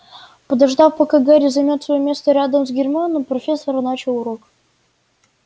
подождав пока гарри займёт своё место рядом с гермионой профессор начала урок